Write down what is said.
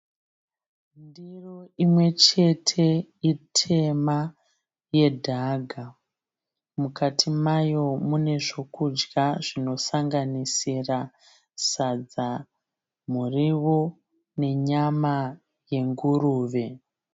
Ndiro imwe chete itema yedhaka. Mukati mayo mune zve kudya zvinosanganisira sadza, miriwo ne nyama yenguruve